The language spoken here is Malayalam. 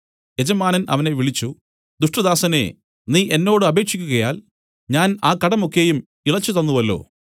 യജമാനൻ അവനെ വിളിച്ചു ദുഷ്ടദാസനേ നീ എന്നോട് അപേക്ഷിക്കുകയാൽ ഞാൻ ആ കടം ഒക്കെയും ഇളച്ചുതന്നുവല്ലോ